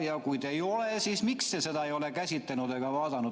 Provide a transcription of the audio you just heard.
Ja kui ei ole, siis miks te seda ei ole käsitlenud?